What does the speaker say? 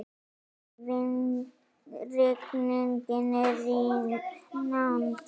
Rigning er í nánd.